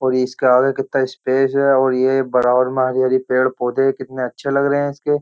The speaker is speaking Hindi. और इसके आगे कितना स्पेस है और ये बराबर में हरी-हरी पेड़-पौधे कितने अच्छे लग रहे हैं इसके।